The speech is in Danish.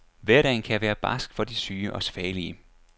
Hverdagen kan være barsk for de syge og svagelige.